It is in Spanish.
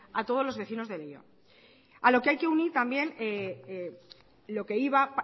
a todos los vecinos de leioa a lo que hay que unir también lo